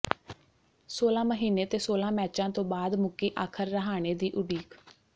ਸੋਲਾਂ ਮਹੀਨੇ ਤੇ ਸੋਲਾਂ ਮੈਚਾਂ ਤੋਂ ਬਾਅਦ ਮੁੱਕੀ ਆਖਿਰ ਰਾਹਾਣੇ ਦੀ ਉਡੀਕ